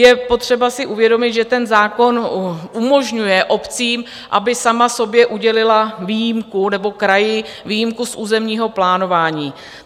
Je potřeba si uvědomit, že ten zákon umožňuje obcím, aby sama sobě udělila výjimku - nebo kraji - výjimku z územního plánování.